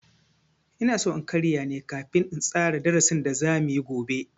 Inaso in karya ne kafin in tsara darasin da za muyi gobe.